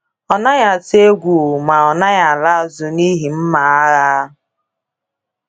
Ọ naghị atụ egwu ma ọ naghị ala azụ n’ihi mma agha.